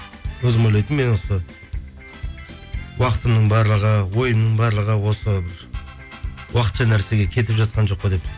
өзім ойлайтынмын мен осы уақытымның барлығы ойымның барлығы осы уақытша нәрсеге кетіп жатқан жоқ па деп